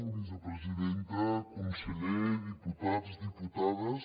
vicepresidenta conseller diputats diputades